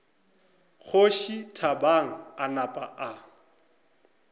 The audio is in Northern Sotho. kgoši thabang a napa a